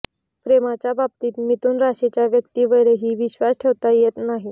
प्रेमाच्या बाबतीत मिथुन राशीच्या व्यक्तिंवरही विश्वास ठेवता येत नाही